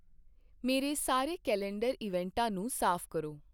ਮੇਰੇ ਸਾਰੇ ਕੈਲੰਡਰ ਇਵੈਂਟਾਂ ਨੂੰ ਸਾਫ਼ ਕਰੋ